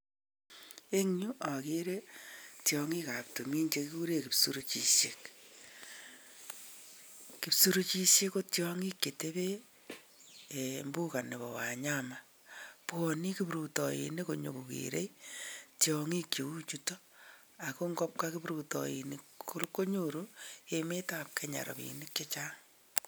Eng yu akere tiong'ikab tumin chekikure kipsurichishek. Kipsurichishek ko tiong'ik chetebee mbuga nebo wanyama bwane kiprutoinik nyokokere tiong'ik cheu chuto ako ngobwa kiprutoinik konyopru emetap Kenya rapiinik chechang.